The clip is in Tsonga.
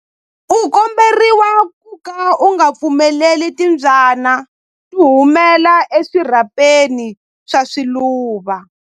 U komberiwa ku ka u nga pfumeleli timbyana ku humela eswirhapeni swa swiluva.